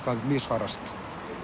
misfarast